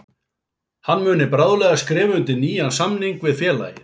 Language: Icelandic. Hann muni bráðlega skrifa undir nýjan samning við félagið.